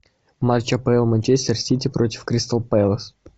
матч апл манчестер сити против кристал пэлас